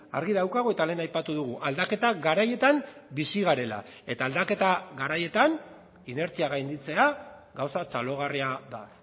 argi daukagu eta lehen aipatu dugu aldaketa garaietan bizi garela eta aldaketa garaietan inertzia gainditzea gauza txalogarria da